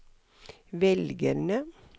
velgerne